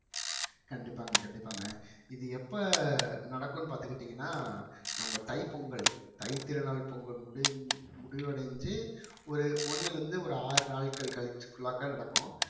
கண்டிப்பாங்க கண்டிப்பாங்க இது எப்ப நடக்கும்னு பார்த்துக்கிட்டீங்கன்னா நம்ம தைப்பொங்கல் தைத்திருநாள் பொங்கல் முடிஞ்~ முடிவடைஞ்சு ஒரு ஒண்ணுல இருந்து ஒரு ஆறு நாட்கள் கழிச்சு குள்ளாக்க நடக்கும்